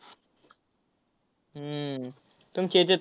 हम्म तुमची हेच्यात